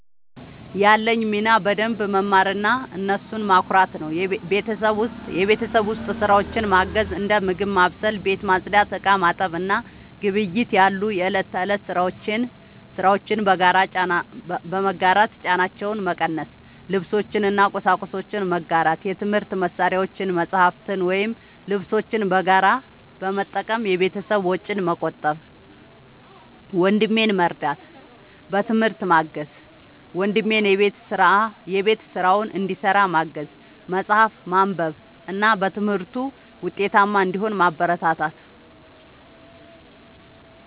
ያለኝ ሚና በደንብ መማርና እነሱን ማኩራት ነው። የቤት ውስጥ ስራዎችን ማገዝ፦ እንደ ምግብ ማብሰል፣ ቤት ማጽዳት፣ ዕቃ ማጠብ እና ግብይት ያሉ የእለት ተእለት ስራዎችን በመጋራት ጫናቸውን መቀነስ። ልብሶችን እና ቁሳቁሶችን መጋራት፦ የትምህርት መሳሪያዎችን፣ መጽሐፍትን ወይም ልብሶችን በጋራ በመጠቀም የቤተሰብን ወጪ መቆጠብ። ወንድሜን መርዳት፦ በትምህርት ማገዝ፦ ወንድሜን የቤት ስራውን እንዲሰራ ማገዝ፣ መጽሐፍትን ማንበብ እና በትምህርቱ ውጤታማ እንዲሆን ማበረታታት።